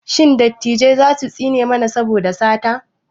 Shin dattijai za su tsine mana saboda sata?